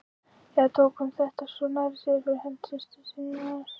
Eða tók hún þetta svona nærri sér fyrir hönd systur sinnar?